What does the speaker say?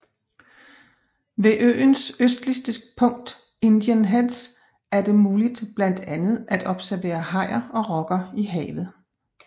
Ved øens østligste punkt Indian Heads er det muligt blandt andet at observere hajer og rokker i havet